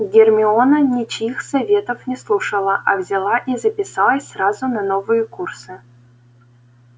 гермиона ничьих советов не слушала а взяла и записалась сразу на новые курсы